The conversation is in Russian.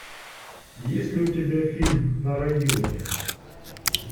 есть ли у тебя фильм на районе